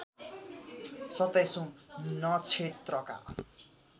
सत्ताईसौँ नक्षत्रका